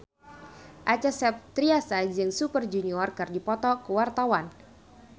Acha Septriasa jeung Super Junior keur dipoto ku wartawan